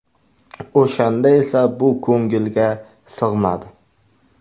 O‘shanda esa bu ko‘ngilga sig‘madi.